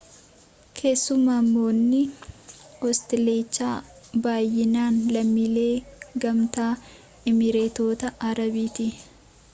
keessummoonni hosteelichaa baayyinaan lammiilee gamtaa emireetota arabaati